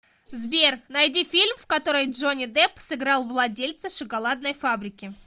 сбер найди фильм в котором джонни депп сыграл владельца шоколадной фабрики